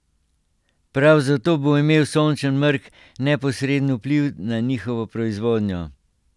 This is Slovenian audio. Prav zato bo imel sončev mrk neposreden vpliv na njihovo proizvodnjo.